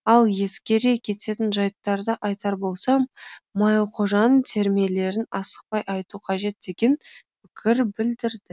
ал ескере кететін жайттарды айтар болсам майлықожаның термелерін асықпай айту қажет деген пікір білдірді